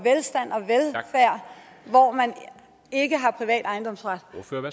hvor man ikke har privat ejendomsret